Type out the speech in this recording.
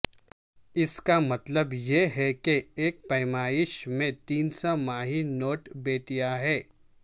اس کا مطلب یہ ہے کہ ایک پیمائش میں تین سہ ماہی نوٹ بیٹیاں ہیں